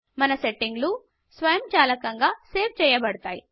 మన సెట్టింగ్స్ స్వయంచాలకంగా సేవ్ చేయబడతాయి